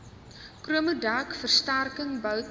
chromodek versterking boute